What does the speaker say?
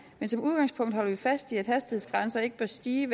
men som udgangspunkt holder vi fast i at hastighedsgrænser ikke bør stige